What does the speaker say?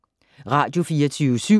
Radio24syv